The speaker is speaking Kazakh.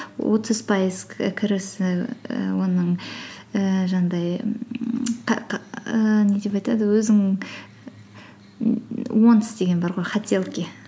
отыз пайыз кірісі і оның ііі жаңағыдай ііі не деп айтады өзің м уонтс деген бар ғой хотелки